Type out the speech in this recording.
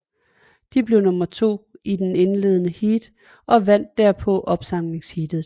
De blev nummer to i det indledende heat og vandt derpå opsamlingsheatet